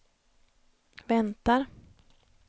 väntar